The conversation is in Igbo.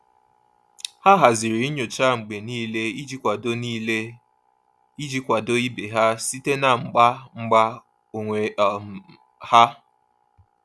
Ha haziri nyocha mgbe niile iji kwado niile iji kwado ibe ha site na mgba mgba onwe um ha.